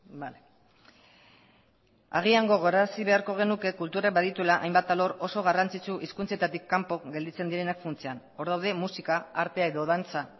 bale agian gogorarazi beharko genuke kulturak badituela hainbat alor oso garrantzitsu hizkuntzetatik kanpo gelditzen direnak funtsean hor daude musika artea edo dantza